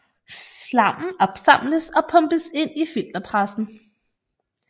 Slammen opsamles og pumpes ind i filterpressen